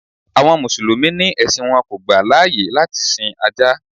Àwọn Mùsùlùmí ni ẹ̀sìn wọn kò gbà láyè láti sin Ajá.